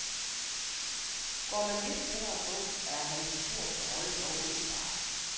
Går man lidt tættere på, er hans historiske rolle dog åbenbar.